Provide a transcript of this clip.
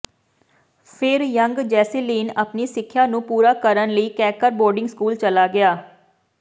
ਫਿਰ Young Jocelyn ਆਪਣੀ ਸਿੱਖਿਆ ਨੂੰ ਪੂਰਾ ਕਰਨ ਲਈ ਕੈਕਰ ਬੋਰਡਿੰਗ ਸਕੂਲ ਚਲਾ ਗਿਆ